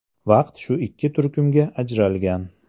Vaqt shu ikki turkumga ajralgan.